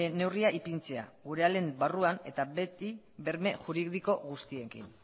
neurria ipintzea gure ahalen barruan eta beti berme juridiko guztiekin